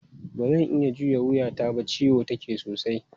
Ba zan iya juya wuyata ba, ciwo take sosai.